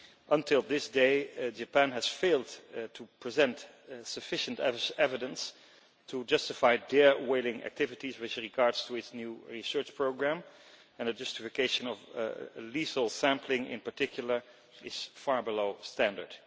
Up to this day, Japan has failed to present sufficient evidence to justify its whaling activities with regard to its new research programme and a justification of lethal sampling, in particular, is far below standard.